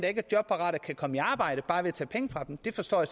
ikke er jobparate kan komme i arbejde bare ved tager penge fra dem det forstår